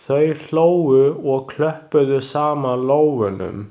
Þau hlógu og klöppuðu saman lófunum.